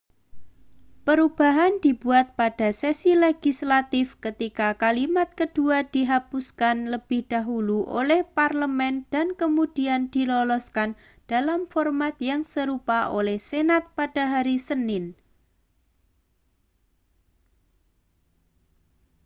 perubahan dibuat pada sesi legislatif ketika kalimat kedua dihapuskan lebih dahulu oleh parlemen dan kemudian diloloskan dalam format yang serupa oleh senat pada hari senin